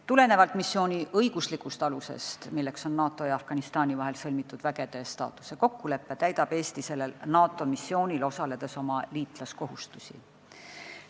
Tulenevalt missiooni õiguslikust alusest, milleks on NATO ja Afganistani vahel sõlmitud vägede staatuse kokkulepe, täidab Eesti sellel NATO missioonil osaledes oma liitlaskohustusi.